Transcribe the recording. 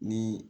Ni